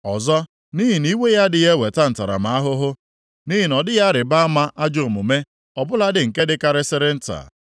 Ọzọ, nʼihi na iwe ya adịghị eweta ntaramahụhụ, nʼihi na ọ dịghị arịba ama ajọ omume ọ bụladị nke dịkarịsịrị nta.